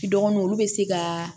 Dɔgɔnin olu bɛ se ka